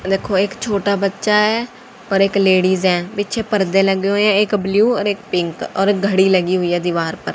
देखो एक छोटा बच्चा है पर एक लेडिस हैं पीछे पर्दे लगे हुए हैं एक ब्लू और एक पिंक और घड़ी लगी हुई है दीवार पर।